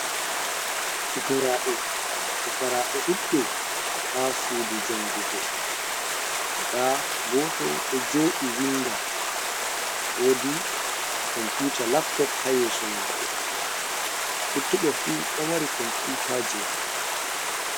Fukaraɓe ɗuɗɓe ha sudu jangugo nda goto ɗo jooɗi winda, woodi computa laptop ha yeso mako luttuɓe fu ɗo mari komputaji maɓɓe.